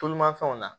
Tulumafɛnw na